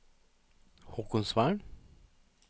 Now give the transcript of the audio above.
Haakonsvern